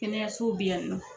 Kɛnɛyasow bi yan nɔ.